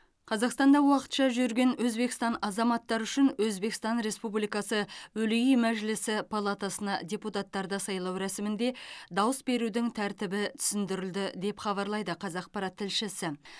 қазақстанда уақытша жүрген өзбекстан азаматтары үшін өзбекстан республикасы өлий мәжілісі палатасына депутаттарды сайлау рәсімінде дауыс берудің тәртібі түсіндірілді деп хабарлайды қазақпарат тілшісі